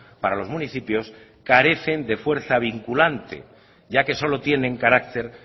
para los municipios carecen de fuerza vinculante ya que solo tienen carácter